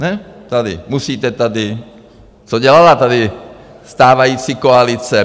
Ne tady, musíte tady, co dělala tady stávající koalice?